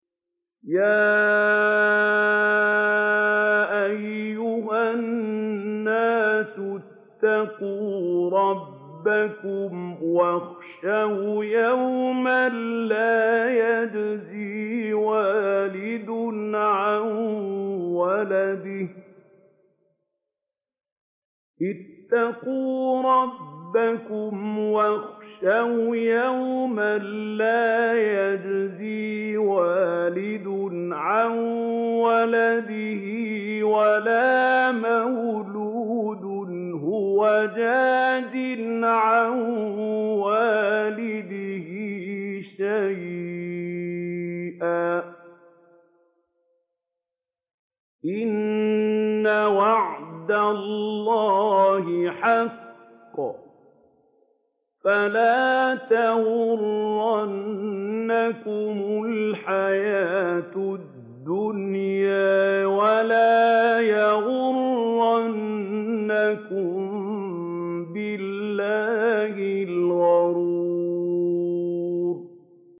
يَا أَيُّهَا النَّاسُ اتَّقُوا رَبَّكُمْ وَاخْشَوْا يَوْمًا لَّا يَجْزِي وَالِدٌ عَن وَلَدِهِ وَلَا مَوْلُودٌ هُوَ جَازٍ عَن وَالِدِهِ شَيْئًا ۚ إِنَّ وَعْدَ اللَّهِ حَقٌّ ۖ فَلَا تَغُرَّنَّكُمُ الْحَيَاةُ الدُّنْيَا وَلَا يَغُرَّنَّكُم بِاللَّهِ الْغَرُورُ